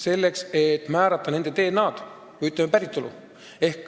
Selleks, et määrata nende DNA-d või, ütleme, päritolu.